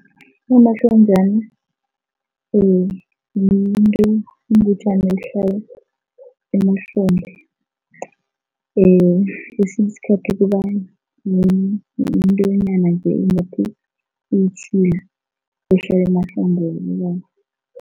Unomahlonjani yinto, yingutjana ehlala emahlombe kesinye isikhathi kuba yintonyana nje eyitjhila ehlala emahlombe wabobaba.